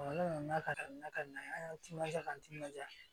ne nana ka na n ka na timinanja n timinandiya